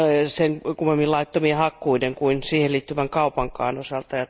sen kummemmin laittomien hakkuiden kuin siihen liittyvän kaupankaan osalta.